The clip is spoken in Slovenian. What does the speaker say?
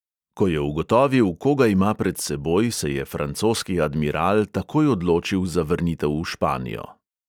Ko je ugotovil, koga ima pred seboj, se je francoski admiral takoj odločil za vrnitev v španijo.